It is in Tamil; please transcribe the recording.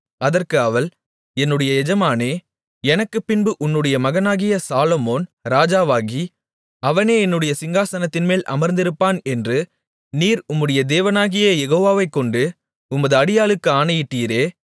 அதற்கு அவள் என்னுடைய எஜமானே எனக்குப்பின்பு உன்னுடைய மகனாகிய சாலொமோன் ராஜாவாகி அவனே என்னுடைய சிங்காசனத்தின்மேல் அமர்ந்திருப்பான் என்று நீர் உம்முடைய தேவனாகிய யெகோவாவைக் கொண்டு உமது அடியாளுக்கு ஆணையிட்டீரே